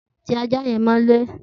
Ti àjá yen mõlé